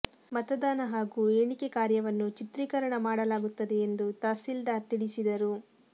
ಮತದಾನ ಹಾಗೂ ಏಣಿಕೆ ಕಾರ್ಯವನ್ನು ಚಿತ್ರೀಕರಣ ಮಾಡಲಾಗುತ್ತದೆ ಎಂದು ತಹಸೀಲ್ದಾರ್ ತಿಳಿಸಿದರು